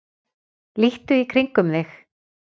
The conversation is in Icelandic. Líttu í kringum þig.